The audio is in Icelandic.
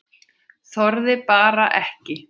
Þorði bara ekki.